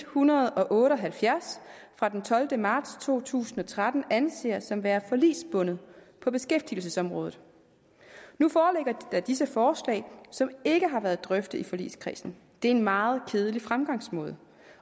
hundrede og otte og halvfjerds fra den tolvte marts to tusind og tretten anser som værende forligsbundet på beskæftigelsesområdet nu foreligger disse forslag som ikke har været drøftet i forligskredsen det er en meget kedelig fremgangsmåde